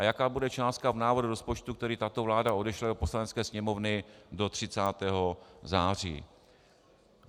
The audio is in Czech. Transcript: A jaká bude částka v návrhu rozpočtu, který tato vláda odešle do Poslanecké sněmovny do 30. září?